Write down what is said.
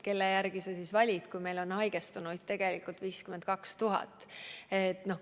Mille järgi sa neid siis valid, kui meil on haigestunuid tegelikult 52 000?